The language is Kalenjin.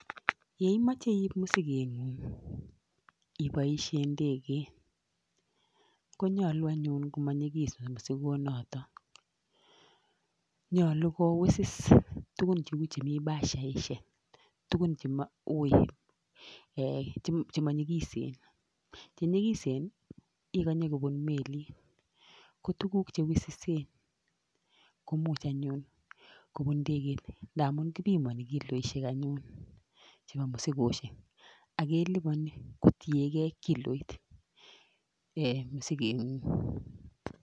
Yeimoche iip mosigeng'uk iboishe ndeget konyolu anyun komanyikis mosigonoto nyolu ko wisis tukun cheu chemi bashaishek tukun chemanyikisen chenyikisen ikonye kobun melit ko tukuk chewisisen komuch anyun kobun ndeget ndamun kipimoni kiloishek chebo mosigeshek akelipani kotiegei kiloitab mosigeng'uk